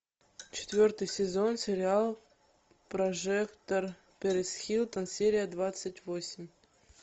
четвертый сезон сериал прожекторперисхилтон серия двадцать восемь